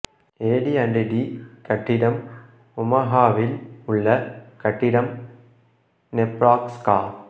AD and T கட்டிடம் ஒமாஹாவில் உள்ள கட்டிடம் நெப்ராஸ்கா